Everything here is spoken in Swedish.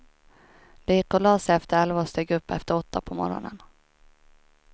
De gick och la sig efter elva och steg upp efter åtta på morgonen.